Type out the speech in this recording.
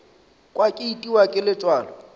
kwa ke itiwa ke letswalo